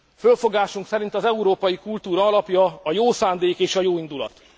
Fölfogásunk szerint az európai kultúra alapja a jó szándék és a jóindulat.